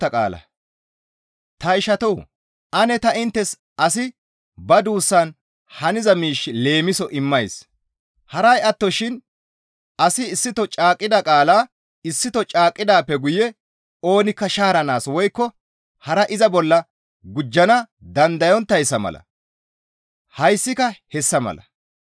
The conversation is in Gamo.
Ta ishatoo! Ane ta inttes asi ba duussan haniza miish leemiso immays; haray attoshin asi issito caaqqida qaala issito caaqqidaappe guye oonikka shaaranaas woykko hara iza bolla gujjana dandayonttayssa mala hayssika hessa mala.